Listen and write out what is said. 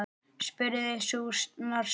spurði sú norska.